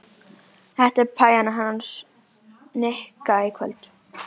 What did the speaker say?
Þetta er pæjan hans Nikka í kvöld.